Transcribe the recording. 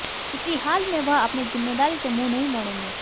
किसी हाल में वह अपनी जिम्मेदारी से मुंह नहीं मोडेंगे